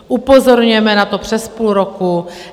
Upozorňujeme na to přes půl roku.